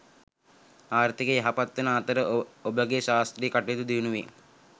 ආර්ථිකය යහපත් වන අතර ඔබගේ ශාස්ත්‍රීය කටයුතු දියුණුවේ.